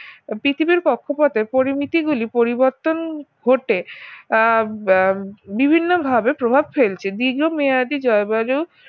পৃথিবীর কক্ষপথের পরিমিতি গুলি পরিবর্তন ঘটে আহ বা বিভিন্নভাবে প্রভাব ফেলছে দীর্ঘমেয়াদি জলবায়ু